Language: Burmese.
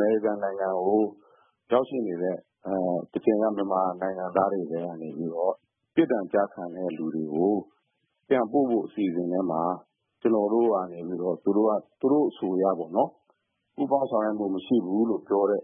မေရိကန်နိုင်ငံကို ရောက်ရှိနေတဲ့ မြန်မာနိုင်ငံသားတွေကနေ ပြစ်ဒဏ်ကျခံတဲ့လူတွေကို ပြန်ပို့ဖို့ အစီအစဉ်ထဲမှာ ကျနော်တို့ကနေပြီးတော့ သူတို့အဆိုအရပေါ့နော် ပူးပေါင်းဆောင်ရွက်မှုမရှိဘူးလို့ ပြောတာ